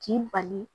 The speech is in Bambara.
K'i bali